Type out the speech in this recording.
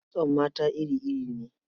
Kitson mata iri-iri ne.